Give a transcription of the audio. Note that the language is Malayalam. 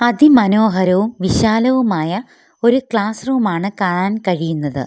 അതിമനോഹരവും വിശാലവുമായ ഒരു ക്ലാസ് റൂമാണ് കാണാൻ കഴിയുന്നത്.